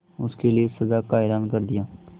उसके लिए सजा का ऐलान कर दिया